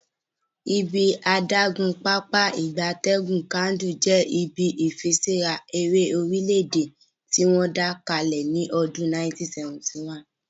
Ibi adagun Pápá ìgbatẹ́gùn Kainji je ibi ifiṣura ere orile-ede tiwon da kale ni odun 1971